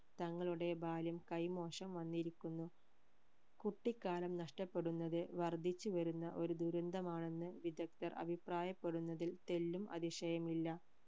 തങ്ങളുടെ ബാല്യം കൈമോശം വന്നിരിക്കുന്നു കുട്ടിക്കാലം നഷ്ടപ്പെടുന്നത് വർധിച്ചു വരുന്ന ഒരു ദുരന്തമാണെന്ന് വിദഗ്ധർ അഭിപ്രായപ്പെടുന്നതിൽ തെല്ലും അതിശയമില്ല